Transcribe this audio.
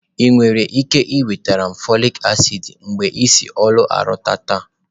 Ị nwere ike nweta m folik acid mgbe m si ọrụ lọta taa?